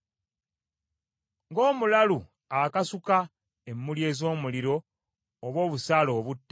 Ng’omulalu akasuka emmuli ez’omuliro oba obusaale obutta,